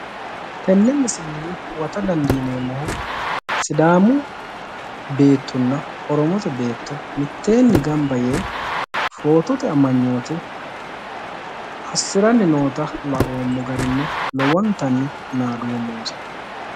tenne misilenni huwata dandiineemmohu sidaamu beettonna oromote beetto mitteenni gamba yee footote amanyoote assiranni noota laoommo garinni lowontanni naadoommonsa.